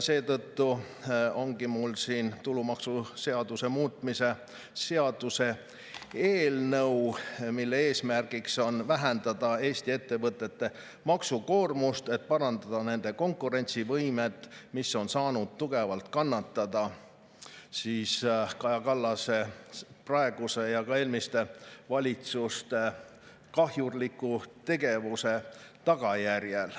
Seetõttu ongi mul siin tulumaksuseaduse muutmise seaduse eelnõu, mille eesmärk on vähendada Eesti ettevõtete maksukoormust, et parandada nende konkurentsivõimet, mis on saanud tugevalt kannatada Kaja Kallase praeguse ja ka eelmiste valitsuste kahjurliku tegevuse tagajärjel.